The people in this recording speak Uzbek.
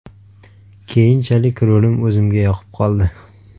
Keyinchalik rolim o‘zimga yoqib qoldi.